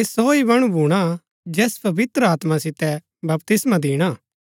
ऐह सो ही मणु भूणा जैस पवित्र आत्मा सितै बपतिस्मा दिणा